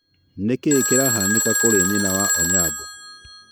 Nĩkiĩ kĩrahanĩka kũrĩ nyina wa Onyango?